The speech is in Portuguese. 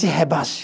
Te rebaixo.